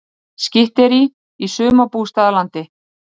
Skytterí í sumarbústaðalandi